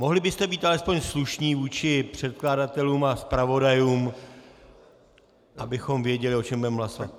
Mohli byste být alespoň slušní vůči předkladatelům a zpravodajům, abychom věděli, o čem budeme hlasovat.